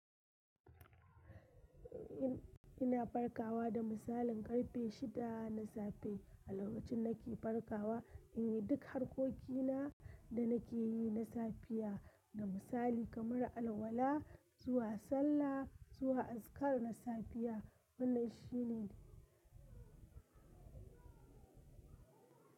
Ina farkawa da misalin karfe shida na safe. A lokacin nake farkawa, in yi duk harkokina da nake yi na safiya da misali kamar alwala zuwa sallah, zuwa azkar na safiya. Wannan shi ne.